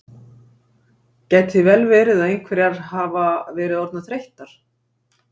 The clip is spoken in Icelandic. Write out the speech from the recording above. Gæti vel verið að einhverjar hafa verið orðnar þreyttar.